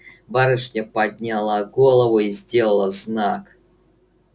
барышня подняла голову и сделала знак